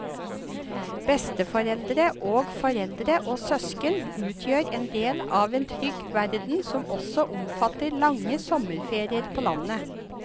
Besteforeldre og foreldre og søsken utgjør en del av en trygg verden som også omfatter lange sommerferier på landet.